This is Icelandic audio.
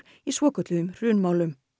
í svokölluðum hrunmálum